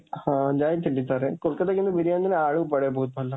ହଁ ଯାଇଥିଲି ଥରେ, କୋଲକତାରେ କିନ୍ତୁ ବିରିୟାନୀରେ ଆଳୁ ପଡ଼େ ବହୁତ ଭଲ।